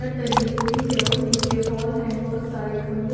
दली हुई है और नीचे हॉल है बहुत सारे खंबे--